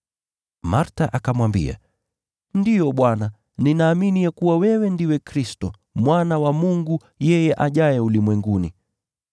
Martha akamwambia, “Ndiyo Bwana, ninaamini ya kuwa wewe ndiwe Kristo, Mwana wa Mungu, yeye ajaye ulimwenguni.”